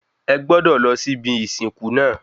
Ẹ gbọ́dọ̀ lọ sí ibi ìsìnkú náà